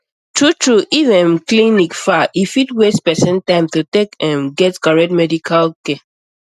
true true if um clinic far e fit waste person time to take um get correct medical care